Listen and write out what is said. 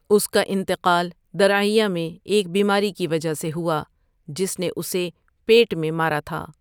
اس کا انتقال درعیہ میں ایک بیماری کی وجہ سے ہوا جس نے اسے پیٹ میں مارا تھا۔